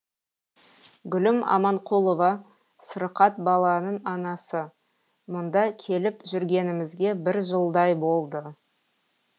гүлім аманқұлова сырқат баланың анасы мұнда келіп жүргенімізге бір жылдай болды